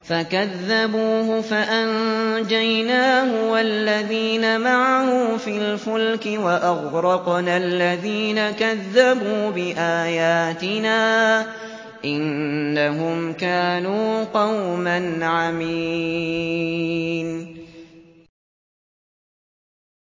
فَكَذَّبُوهُ فَأَنجَيْنَاهُ وَالَّذِينَ مَعَهُ فِي الْفُلْكِ وَأَغْرَقْنَا الَّذِينَ كَذَّبُوا بِآيَاتِنَا ۚ إِنَّهُمْ كَانُوا قَوْمًا عَمِينَ